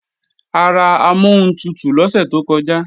A ra amọ́huntutù lọ́sẹ̀ tó kọjá